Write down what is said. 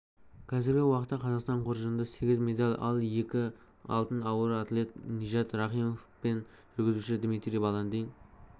қазіргі уақытта қазақстан қоржынында сегіз медаль екі алтын ауыр атлет нижат рахимов пен жүзуші дмитрий баландин